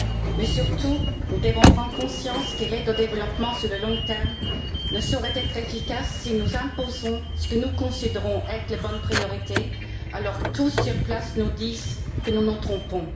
Mais, surtout, nous devons prendre conscience que l'aide au développement à long terme ne saurait être efficace si nous imposons ce que nous considérons être les bonnes priorités alors que tous, sur place, nous disent que nous nous trompons.